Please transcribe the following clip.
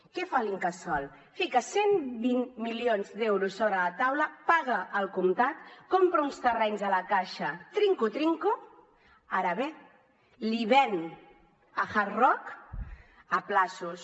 què fa l’incasòl fica cent i vint milions d’euros sobre la taula paga al comptat compra uns terrenys a la caixa trinco trinco ara bé l’hi ven a hard rock a terminis